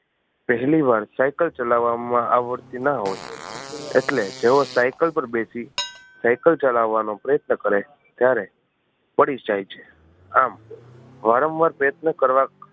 પહેલી વાર સાઇકલ ચલાવવામાં આવડતી ના હોય એટલે જેવો સાઇકલ પાર બેસી સાઇકલ ચલાવવાનો પ્રયત્ન કરે ત્યારે પડી જાય છે આમ વારંવાર પ્રયત્ન કરવા